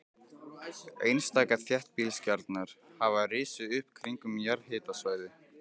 Einstaka þéttbýliskjarnar hafa risið upp kringum jarðhitasvæði.